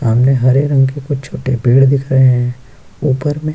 सामने हरे रंग के कुछ छोटे पेड़ दिख रहे हैं ऊपर में --